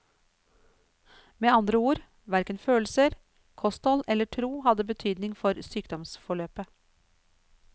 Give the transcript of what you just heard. Med andre ord, hverken følelser, kosthold eller tro hadde betydning for sykdomsforløpet.